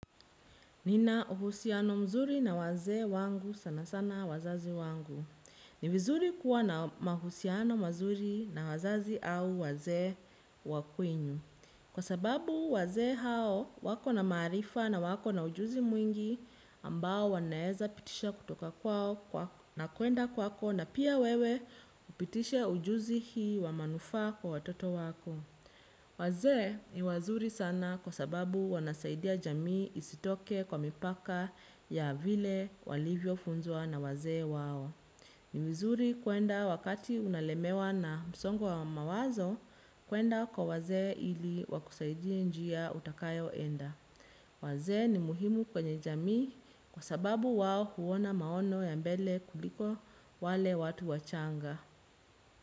Nina uhusiano mzuri na wazee wangu sana sana wazazi wangu. Ni vizuri kuwa na mahusiano mazuri na wazazi au wazee wa kwenyu. Kwa sababu wazee hao wako na maarifa na wako na ujuzi mwingi ambao wanaweza pitisha kutoka kwao na kwenda kwako na pia wewe upitishe ujuzi hii wa manufaa kwa watoto wako. Wazee ni wazuri sana kwa sababu wanasaidia jamii isitoke kwa mipaka ya vile walivyo funzwa na wazee wao. Ni vizuri kwenda wakati unalemewa na msongo wa mawazo, kwenda kwa wazee ili wakusaidie njia utakayoenda. Wazee ni muhimu kwenye jamii kwa sababu wao huona maono ya mbele kuliko wale watu wachanga.